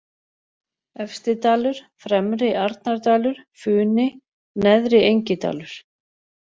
Efsti-Dalur, Fremri-Arnardalur, Funi, Neðri-Engidalur